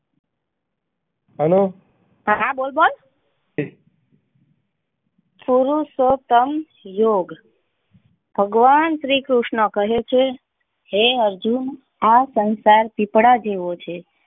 હા બોલ બાણ પુરસોત્તમ યોગ ભગવાન શ્રી કૃષ્ણ કહે છે હે અર્જુન આ સંસાર સૂપડા જેવો છે.